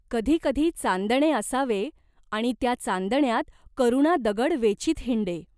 कधी कधी चांदणे असावे आणि त्या चांदण्यात करुणा दगड वेचीत हिंडे.